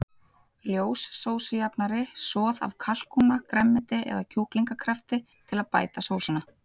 Ljós sósujafnari, soð af kalkúna, grænmeti eða kjúklingakraftur til að bæta sósuna.